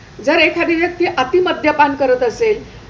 जर एखादी व्यक्ती अति मद्यपान करत असेल,